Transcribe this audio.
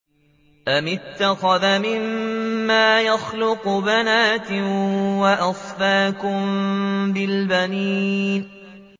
أَمِ اتَّخَذَ مِمَّا يَخْلُقُ بَنَاتٍ وَأَصْفَاكُم بِالْبَنِينَ